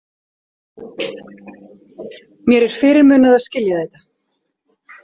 Mér er fyrirmunað að skilja þetta.